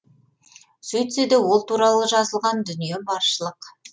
сөйтсе де ол туралы жазылған дүние баршылық